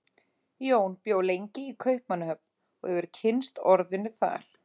Jón bjó lengi í Kaupmannahöfn og hefur kynnst orðinu þar.